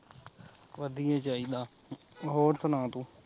ਵਧੀਆ ਈ ਚਾਹੀਦਾ ਹੋਰ ਸੁਣਾ ਤੂੰ